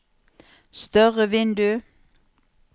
større vindu